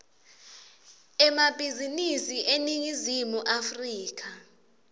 emabhizinisi eningizimu afrika